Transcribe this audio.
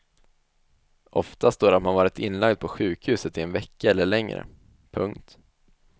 Ofta står det att man varit inlagd på sjukhuset i en vecka eller längre. punkt